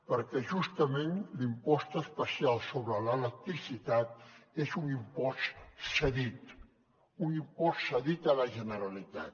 perquè justament l’impost especial sobre l’electricitat és un impost cedit un impost cedit a la generalitat